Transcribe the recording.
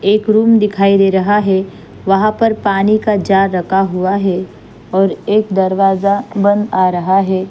एक रूम दिखाई दे रहा है वहां पर पानी का जार रखा हुआ है और एक दरवाज़ा बंद आ रहा है।